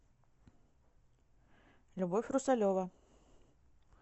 любовь русалева